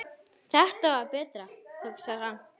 Þetta var betra, hugsar hann.